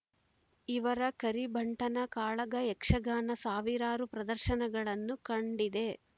ಇವರ ಕರಿಭಂಟನ ಕಾಳಗ ಯಕ್ಷಗಾನ ಸಾವಿರಾರು ಪ್ರದರ್ಶನಗಳನ್ನು ಕಂಡಿದೆ